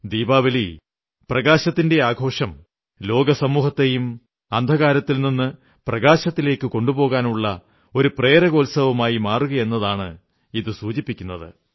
ദീപാവലി പ്രകാശത്തിന്റെ ഈ ആഘോഷം ലോകസമൂഹത്തെയും അന്ധകാരത്തിൽ നിന്ന് പ്രകാശത്തിലേക്ക് കൊണ്ടുപോകാനുള്ള ഒരു പ്രേരകോത്സവമായി മാറുകയാണെന്നതാണ് ഇത് സൂചിപ്പിക്കുന്നത്